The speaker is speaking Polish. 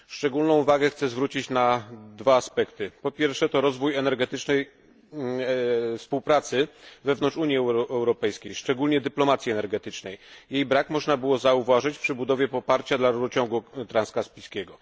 Szczególną uwagę chcę zwrócić na dwa aspekty po pierwsze rozwój energetycznej współpracy wewnątrz Unii Europejskiej, szczególnie dyplomacji energetycznej. Jej brak można było zauważyć przy zdobywaniu poparcia dla rurociągu transkaspijskiego.